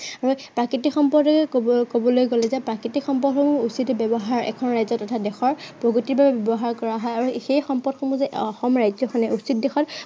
আৰু প্ৰাকৃতিক সম্পদেৰে কব~কবলৈ গলে এতিয়া প্ৰাকৃতিক সম্পদৰো উচিত ব্য়ৱহাৰ এখন ৰাজ্য় বা দেশৰ প্ৰগতিৰ বাবে ব্য়ৱহাৰ কৰা হয় আৰু সেই সম্পদসমূহ যে অসম ৰাজ্য়খনে উচিত দিশত